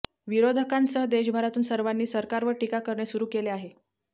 विरोधकांसह देशभरातून सर्वांनी सरकारवर टीका करणे सुरु केले आहे